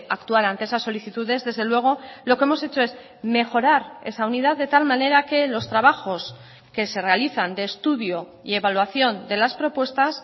actuar ante esas solicitudes desde el luego lo que hemos hecho es mejorar esa unidad de tal manera que los trabajos que se realizan de estudio y evaluación de las propuestas